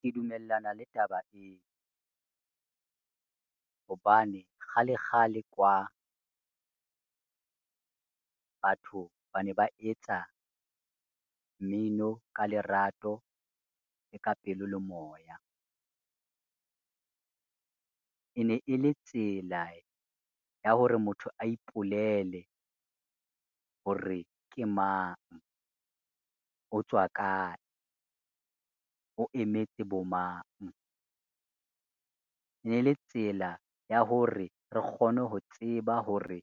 Ke dumellana le taba eo, hobane kgale kgale kwa, batho ba ne ba etsa mmino ka lerato le ka pelo le moya. E ne e le tsela ya hore motho a ipolele hore ke mang, o tswa kae, o emetse bomang. Ne le tsela ya hore re kgone ho tseba hore